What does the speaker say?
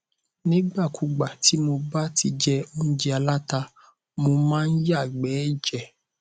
nígbàkúùgbà tih mo bá ti jẹ óúnjẹ aláta mo máa ń yàgbẹ ẹjẹ